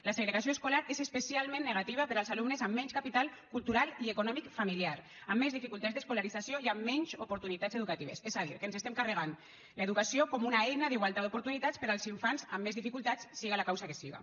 la segregació escolar és especialment negativa per als alumnes amb menys capital cultural i econòmic familiar amb més dificultats d’escolarització i amb menys oportunitats educatives és a dir que ens estem carregant l’educació com una eina d’igualtat d’oportunitats per als infants amb més dificultats siga per la causa que siga